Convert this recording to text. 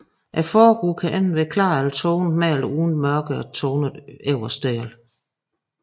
Forruden kan enten være klar eller tonet med eller uden en mørkere tonet øverste del